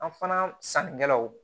An fana sannikɛlaw